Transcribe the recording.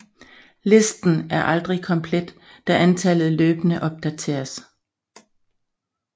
Listen er aldrig komplet da antallet løbende opdateres